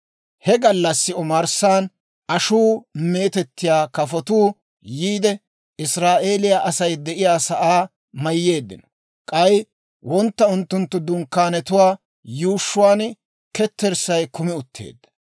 He gallassi omarssan ashuu meetettiyaa kafotuu yiide, Israa'eeliyaa Asay de'iyaa sa'aa mayyeeddino; k'ay wontta unttunttu dunkkaanetuwaa yuushshuwaan ketterssay kumi utteedda. Ashuu meetettiyaa kafotuwaa